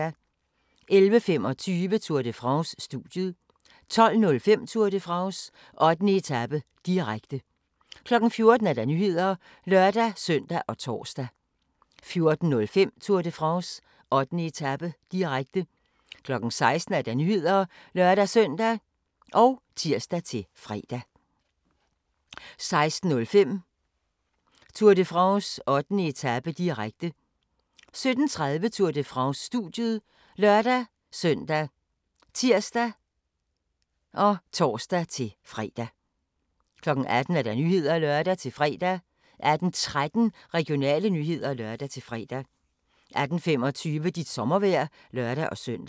11:25: Tour de France: Studiet 12:05: Tour de France: 8. etape, direkte 14:00: Nyhederne (lør-søn og tor) 14:05: Tour de France: 8. etape, direkte 16:00: Nyhederne (lør-søn og tir-fre) 16:05: Tour de France: 8. etape, direkte 17:30: Tour de France: Studiet ( lør-søn, tir, tor-fre) 18:00: Nyhederne (lør-fre) 18:13: Regionale nyheder (lør-fre) 18:25: Dit sommervejr (lør-søn)